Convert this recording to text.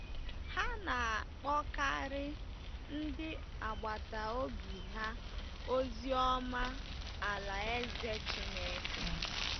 Ha na-akpọkarị ndị agbata obi ha ozi ọma Alaeze Chineke.